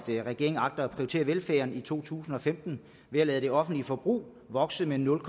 regeringen agter at prioritere velfærden i to tusind og femten ved at lade det offentlige forbrug vokse med nul